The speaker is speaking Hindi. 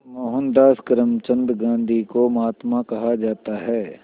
मोहनदास करमचंद गांधी को महात्मा कहा जाता है